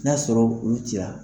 Na y'a sɔrɔ ku ci a.